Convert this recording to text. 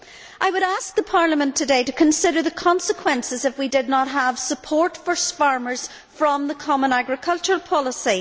I would ask Parliament today to consider the consequences if we did not have support for farmers from the common agricultural policy.